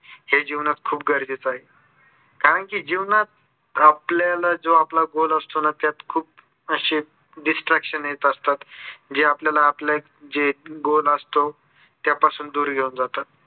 हे जीवनात खूप गरजेचे आहे. कारण की जीवनात आपल्याला आपला जो goal असतो ना त्यात खूप अशी distraction येत असतात. जे आपल्याला आपले एक जे goal असतो त्या पासून दूर घेऊन जातात.